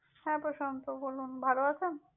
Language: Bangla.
হ্যাঁ, প্রশান্ত, বলনু। ভালও আছেন?